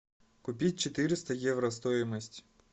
купить четыреста евро стоимость